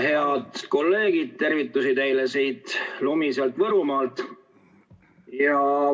Head kolleegid, tervitusi teile siit lumiselt Võrumaalt!